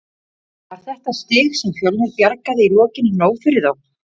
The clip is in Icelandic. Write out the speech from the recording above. Var þetta stig sem Fjölnir bjargaði í lokin nóg fyrir þá?